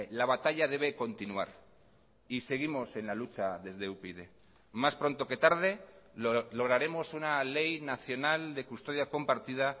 la batalla debe continuar y seguimos en la lucha desde upyd más pronto que tarde lograremos una ley nacional de custodia compartida